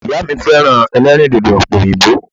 Ìyá mi féràn elérìndòdò òpè òyìnbó